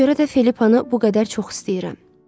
Ona görə də Filippanı bu qədər çox istəyirəm.